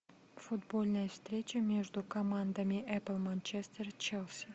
футбольная встреча между командами апл манчестер челси